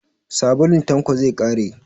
Sabulun Tanko zai ƙare.